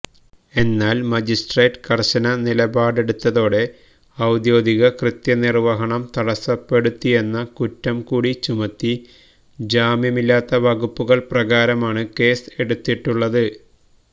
എന്നാൽ മജിസ്ട്രേട്ട് കർശന നിലപാടെടുത്തോടെ ഔദ്യോഗിക കൃത്യനിർവഹണം തടസപ്പെടുത്തിയെന്ന കുറ്രം കൂടി ചുമത്തി ജാമ്യമില്ലാത്ത വകുപ്പുകൾ പ്രകാരമാണ് കേസ് എടുത്തിട്ടുളളത്